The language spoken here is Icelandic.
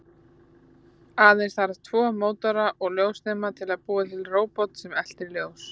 Aðeins þarf tvo mótora og ljósnema til að búa til róbot sem eltir ljós.